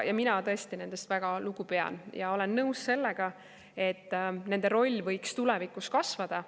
Mina tõesti pean nendest väga lugu ja olen nõus sellega, et nende roll võiks tulevikus kasvada.